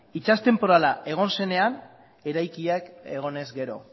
itsas tenporala egon zenean eraikiak egonez gero